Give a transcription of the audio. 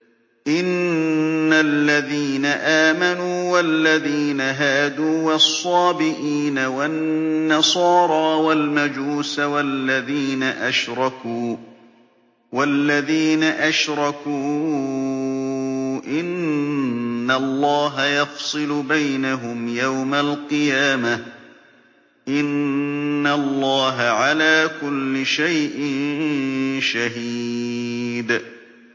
إِنَّ الَّذِينَ آمَنُوا وَالَّذِينَ هَادُوا وَالصَّابِئِينَ وَالنَّصَارَىٰ وَالْمَجُوسَ وَالَّذِينَ أَشْرَكُوا إِنَّ اللَّهَ يَفْصِلُ بَيْنَهُمْ يَوْمَ الْقِيَامَةِ ۚ إِنَّ اللَّهَ عَلَىٰ كُلِّ شَيْءٍ شَهِيدٌ